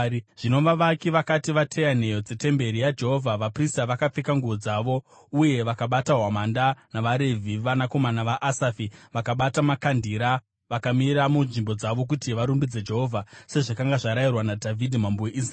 Zvino vavaki vakati vateya nheyo dzetemberi yaJehovha, vaprista vakapfeka nguo dzavo, uye vakabata hwamanda, navaRevhi (vanakomana vaAsafi) vakabata makandira, vakamira munzvimbo dzavo kuti varumbidze Jehovha, sezvakanga zvarayirwa naDhavhidhi mambo weIsraeri.